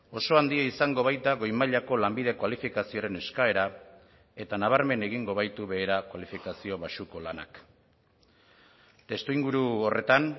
oso handia izango baita goi mailako lanbide kualifikazioaren eskaera eta nabarmen egingo baitu behera kualifikazio baxuko lanak testuinguru horretan